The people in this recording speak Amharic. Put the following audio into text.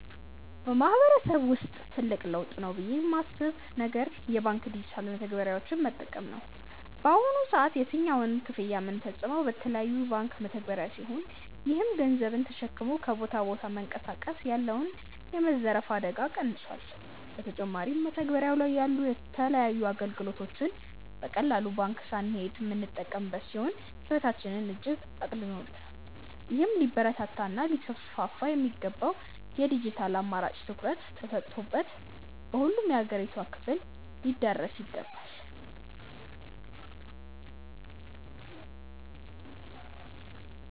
በማህበረሰብ ውስጥ ትልቅ ለውጥ ነው ብዬ ማስብ ነገር የባንክ ዲጂታል መተግበሪያዎችን መጠቀም ነው። በአሁኑ ሰዓት የትኛውንም ክፍያ ምንፈጽመው በተለያዩ የባንክ መተግባሪያ ሲሆን ይህም ገንዘብን ተሸክሞ ከቦታ ቦታ መንቀሳቀስ ያለውን የመዘረፍ አደጋ ቀንሶል። በተጨማሪም መተግበሪያው ላይ ያሉ የተለያዩ አገልግሎቶችን በቀላሉ ባንክ ሳንሄድ ምንጠቀም ሲሆን ህይወታችንን እጅግ አቅልሎልናል። ይህም ሊበረታታ እና ሊስፋፋ የሚገባው የድጅታል አማራጭ ትኩረት ተሰጥቶበት በሁሉም የአገሪቷ ክፍል ሊዳረስ ይገባል።